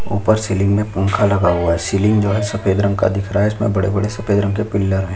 ऊपर सीलिंग में पंखा लगा हुआ है सीलिंग जो है सफ़ेद रंग का दिख रहा है इसमें बड़े-बड़े सफ़ेद रंग के पिलर है।